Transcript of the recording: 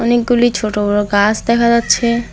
অনেকগুলি ছোট বড় গাস দেখা যাচ্ছে।